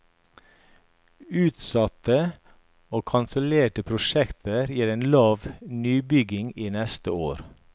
Utsatte og kansellerte prosjekter gir en lav nybygging neste år.